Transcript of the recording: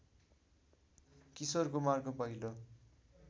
किशोर कुमारको पहिलो